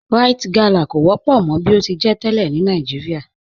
Ríte galá kọ wọ́pọ̀ mọ̀ bí o ti jẹ́ tẹ́lẹ̀ ni Nàìjíríà